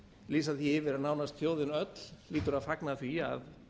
lýsa því yfir að nánast þjóðin öll hlýtur að fagna því að